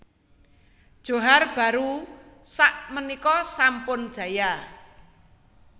Johar Baru sak menika sampun jaya